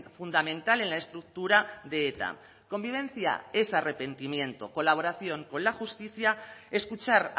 fundamental en la estructura de eta convivencia es arrepentimiento colaboración con la justicia escuchar